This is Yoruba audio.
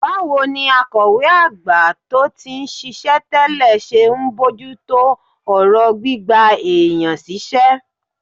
Báwo ni akọ̀wé àgbà tó ti ń ṣiṣẹ́ tẹ́lẹ̀ ṣe ń bójú tó ọ̀rọ̀ gbígba èèyàn síṣẹ́?